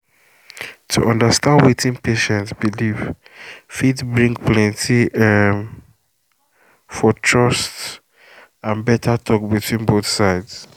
to understand wetin patient believe fit help plenty um for trust and better talk between both sides.